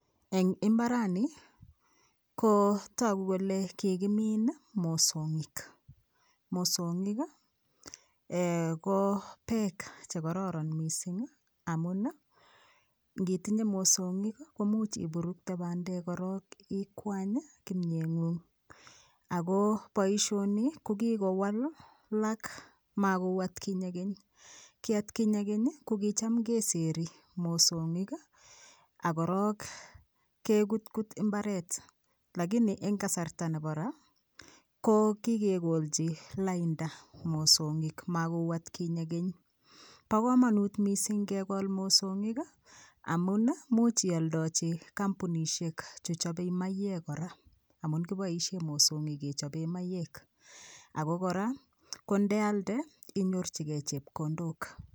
Eng' imbarani kotoku kole kikimiin mosongik, mosongik ko beek chekororon mising' amun ngitinye mosongik komuch iburukte bandek korok ikwany kimyeng'ung' Ako boishonii kokikowalak makou atkinye keny kii atkinye keny kokicham keseri mosongik okorok kekutkut mbaret lakini eng' kasarta nebo raa kokikekolchi landa mosongik makouu atkinye keny bo komonut mising' kekol mosongik amun much ioldoji kampunishek chechobei maiywek kora amun koboishen mosongik kechobee maiywek Ako kora kondealde inyorchigei chepkondok